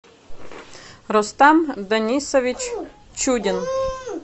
рустам данисович чудин